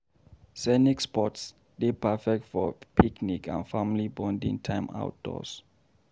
Scenic spots dey perfect for picnics and family bonding time outdoors.